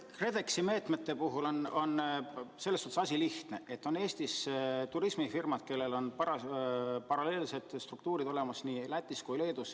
KredExi meetmete puhul on selles mõttes küsimus lihtne, et Eestis on turismifirmad, kellel on paralleelsed struktuurid olemas nii Lätis kui ka Leedus.